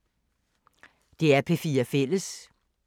DR P4 Fælles